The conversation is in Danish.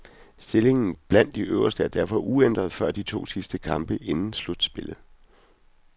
Stillingen blandt de øverste er derfor uændret før de to sidste kampe inden slutspillet.